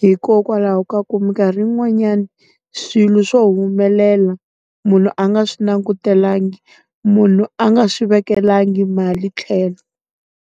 Hikokwalaho ka ku minkarhi yin'wanyani, swilo swo humelela, munhu a nga swi langutelangi, munhu a nga swi vekelangi mali tlhelo.